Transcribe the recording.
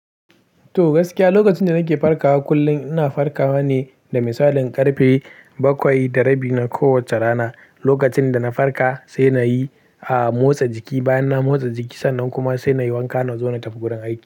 To gaskiya, lokacin da nake farkawa kullum ina farkawa ne da misalin karfe bakwai da rabi na kowacce rana. Lokacin da na farka sai na yi a motsa jiki, bayan na motsa jiki sannan kuma sai na yi wanka na zo na tafi gurin aiki.